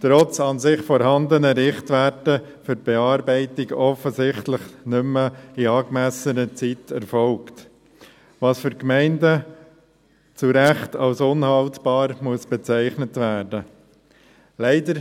trotz an und für sich vorhandener Richtwerte, für die Bearbeitung offensichtlich nicht mehr in angemessener Zeit erfolgt, was für Gemeinden zu Recht als unhaltbar bezeichnet werden muss.